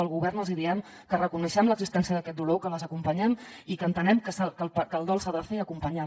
el govern els hi diem que reconeixem l’existència d’aquest dolor que les acompanyem i que entenem que el dol s’ha de fer acompanyada